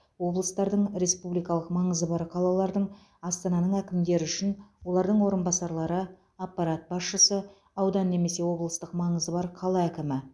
облыстардың республикалық маңызы бар қалалардың астананың әкімдері үшін олардың орынбасарлары аппарат басшысы аудан немесе облыстық маңызы бар қала әкімі